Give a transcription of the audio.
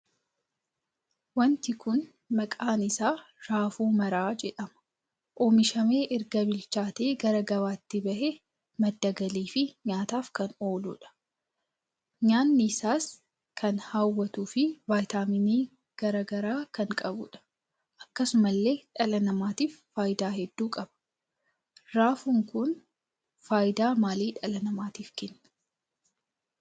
Wanti kun maqaan isaa raafuu maraa jedhama. oomishamee erga bilchaate gara gabaatti bahee madda galii fi nyaataaf kan ooluudha. nyaannis isaa kan hawwatu fi viitaaminii garaagaraa kan qabuudha. akkasumallee dhala namaatiif faayidaa hedduu qaba. Raafuu kun faayidaa maalii dhala namaatiif Kenna?